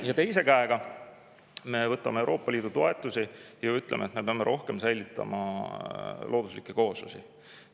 Ja teise käega me võtame Euroopa Liidu toetusi ja ütleme, et me peame rohkem säilitama looduslikke kooslusi.